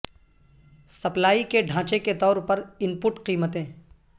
supply کے ڈھانچے کے طور پر ان پٹ قیمتیں